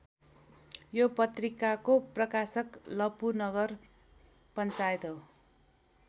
यो पत्रिकाको प्रकाशक लपु नगर पञ्चायत हो।